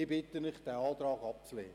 Ich bitte Sie, diesen Antrag abzulehnen.